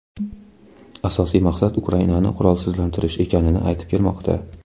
asosiy maqsad Ukrainani qurolsizlantirish ekanini aytib kelmoqda.